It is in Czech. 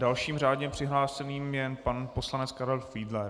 Dalším řádně přihlášeným je pan poslanec Karel Fiedler.